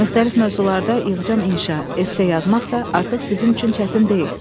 Müxtəlif mövzularda yığcam inşa, esse yazmaq da artıq sizin üçün çətin deyil.